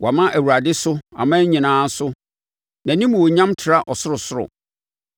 Wɔama Awurade so aman nyinaa so, nʼanimuonyam tra ɔsorosoro.